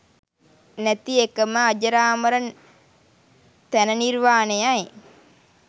නැති එකම අජරාමර තැනනිර්වාණයයි.